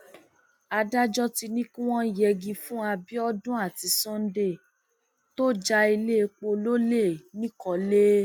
adájọ ti ní kí wọn yẹgi fún abiodun àti sunday tó ja iléepo lọlẹ nìkọlé